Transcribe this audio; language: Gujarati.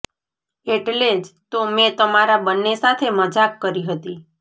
એટલે જ તો મેં તમારા બંને સાથે મજાક કરી હતી